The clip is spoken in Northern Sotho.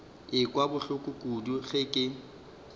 ekwa bohloko kudu ge ke